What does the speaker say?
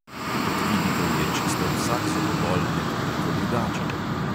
Kot vidite, je čisto vsak zobobol nekoliko drugačen.